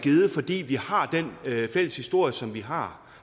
givet fordi vi har den fælles historie som vi har